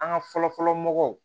An ka fɔlɔ fɔlɔ mɔgɔw